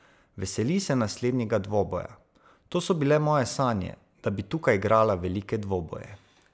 Veseli se naslednjega dvoboja: "To so bile moje sanje, da bi tukaj igrala velike dvoboje.